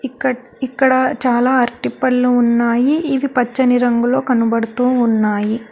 ఇక్కడ్ ఇక్కడ చాలా అరటిపళ్ళు ఉన్నాయి ఇవి పచ్చని రంగులో కనబడుతూ ఉన్నాయి.